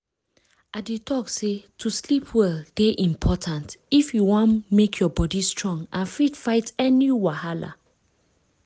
i dey talk say to sleep well dey important if you wan make your body strong and fit fight any wahala